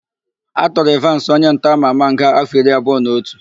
A tụrụ Ịvansị, onyentọ ama ama nga áfọ̀ iri abụọ na otu.